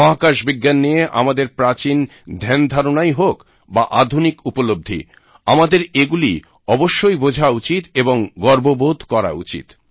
মহাকাশ বিজ্ঞান নিয়ে আমাদের প্রাচীন ধ্যানধারনাই হোক বা আধুনিক উপলব্ধি আমাদের এগুলি অবশ্যই বোঝা উচিৎ এবং গর্ববোধ করা উচিৎ